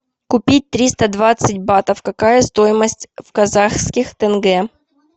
купить триста двадцать батов какая стоимость в казахских тенге